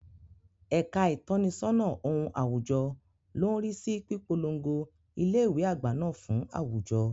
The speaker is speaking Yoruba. Ẹ̀ka ìtọ́nisọ́nà ohun àwùjọ ló ń rí sí pípolongo ilé ìwé àgbà náà fún àwùjọ.